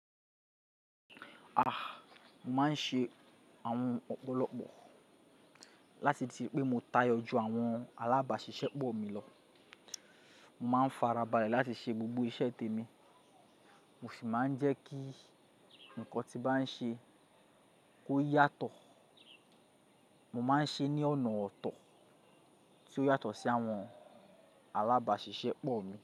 Ah! Mo máa ń ṣe àwọn ọ̀pọ̀lọpọ̀ láti ti pé mo táyọ ju àwọn alábàáṣiṣẹ́ pọ̀ mi lọ. Mo máa ń farabalẹ̀ láti ṣe gbogbo iṣẹ́ tèmi, mo sì máa ń jẹ́ kí nǹkan tí bá ń ṣe kó yàtọ̀. Mo máa ń ṣe ní ọ̀nà ọ̀tọ̀ tí ó yàtọ̀ sí àwọn alábáṣiṣẹ́ pọ̀ mi.